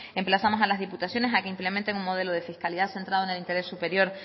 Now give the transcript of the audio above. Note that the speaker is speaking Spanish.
emplazamos a las diputaciones a que implementen un modelo de fiscalidad centrado en el interés superior